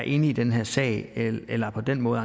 inde i den her sag eller på den måde